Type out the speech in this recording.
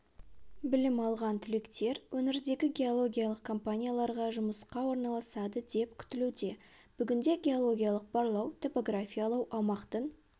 білім алған түлектер өңірдегі геологиялық компанияларға жұмысқа орналасады деп күтілуде бүгінде геологиялық барлау топографиялау аумақтың